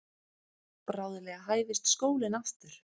Bráðlega hæfist skólinn aftur.